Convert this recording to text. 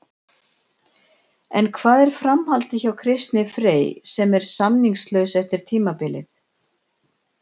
En hvað er framhaldið hjá Kristni Frey sem er samningslaus eftir tímabilið?